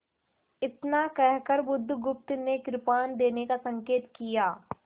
इतना कहकर बुधगुप्त ने कृपाण देने का संकेत किया